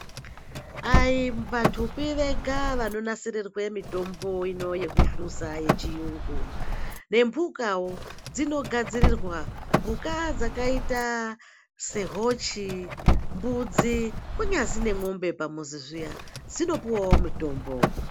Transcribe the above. Ayivantupi vega vanonasirirwe mitombo ino yekuhluza yechiyungu. Nembukawo dzinogadzirirwa. Mbuka dzakaite sehochi, mbudzi kunyazi nemwombe pamuzi zviya, dzinopuwawo mitombo.